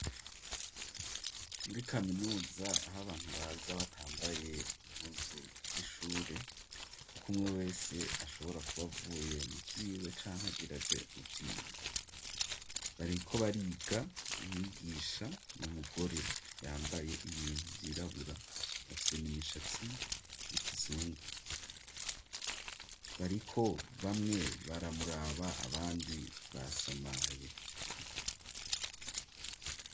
muri kaminuza aho abantu baza batambaye impuzu z'ishure kuko umwe wese ashobora kubavuye mu byiwe cankagiraje mu byiwe bariko bariga mwigisha n'umugore yambaye ibintu byirabura asen imishatsi y'ikizungu bariko bamwe baramuraba abandi basamaye